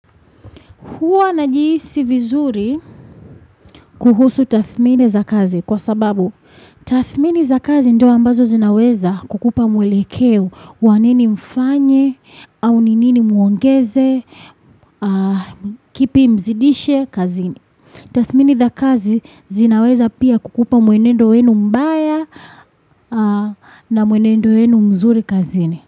Huwa na jihisi vizuri kuhusu tathmini za kazi kwa sababu tathmini za kazi ndo ambazo zinaweza kukupa mwelekeo wa nini mfanye au ninini muongeze kipi mzidishe kazini. Tathmini za kazi zinaweza pia kukupa mwenendo wenu mbaya na mwenendo wenu mzuri kazini.